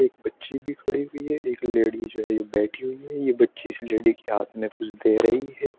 एक बच्ची भी खड़ी हुई है। एक लेडी जो है ये बैठी हुई है। ये बच्ची इस लेडी के हाथ में कुछ दे रही है।